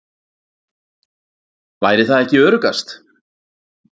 Væri það ekki öruggast?